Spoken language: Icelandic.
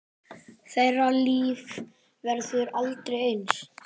Þeirra líf verður aldrei eins.